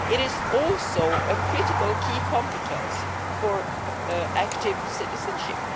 It is also a critical key competence for active citizenship.